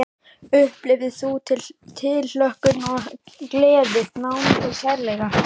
Upplifðir þú tilhlökkun og gleði, nánd og kærleika?